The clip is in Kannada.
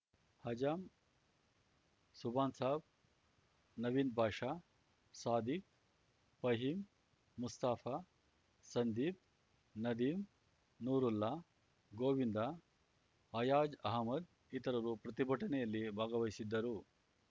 ಅಜಮ್‌ ಸುಭಾನ್‌ ಸಾಬ್‌ ನವೀದ್‌ ಬಾಷಾ ಸಾದಿಕ್‌ ಫಹೀಮ್‌ ಮುಸ್ತಫಾ ಸಂದೀಪ್‌ ನದೀಂ ನೂರುಲ್ಲಾ ಗೋವಿಂದ ಹಯಾಜ್‌ ಅಹಮ್ಮದ್‌ ಇತರರು ಪ್ರತಿಭಟನೆಯಲ್ಲಿ ಭಾಗವಹಿಸಿದ್ದರು